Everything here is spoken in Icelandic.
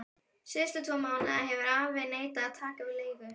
Síðustu tvo mánuði hefur afi neitað að taka við leigu.